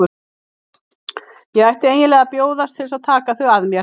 Ég ætti eiginlega að bjóðast til að taka þau að mér.